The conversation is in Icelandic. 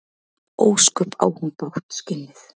Ósköp á hún bágt, skinnið.